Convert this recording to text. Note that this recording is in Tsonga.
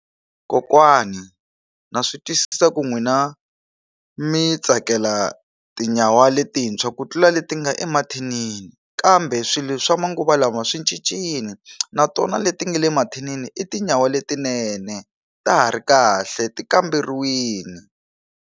Kokwani na swi twisisa ku n'wina mi tsakela tinyawa letintshwa ku tlula leti nga emathinini kambe swilo swa manguva lawa swi cincile na tona leti nga le mathinini i tinyawa letinene ta ha ri kahle ti kamberiwini.